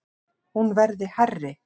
Hún verði hærri.